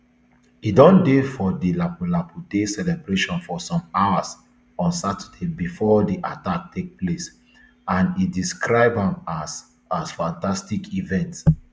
e don dey for di lapu lapu day celebrations for some hours on saturday bifor di attack take place and e describe am as as fantastic event